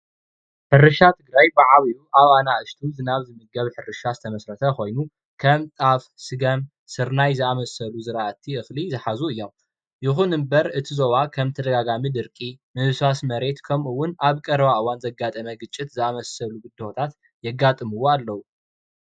ሕርሻ ካብ በዓል ኣናእሽቲ ናብ ግዝያዊ ዝተመስረተ ኮይኑ ከም ጣፍ፣ ስገም፣ ስርይ ዝኣምሰሉ ዝራእቲ እክሊ ዝሓዙ እዮም፡፡ ይኩን እምበር እቲ ዞባ ብተደጋጋሚ ድቂ ምብስባስ መሬት ከምኡ እውነ ኣብ ቀረባ እዋን ዘጋጠመ ግጭት ዘኣምሰሉ ብድሆታት የጋጥምዎ ኣለዉ፡፡